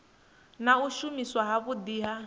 na u shumiswa zwavhudi ha